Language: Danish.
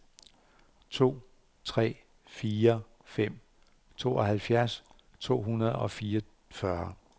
to tre fire fem tooghalvfjerds to hundrede og fireogfyrre